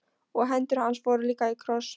Og hendur hans voru líka í kross.